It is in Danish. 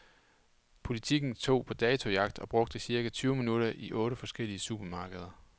Politiken tog på datojagt og brugte cirka tyve minutter i otte forskellige supermarkeder.